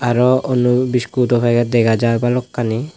aro onno biscuit o packet dega jar balokkani.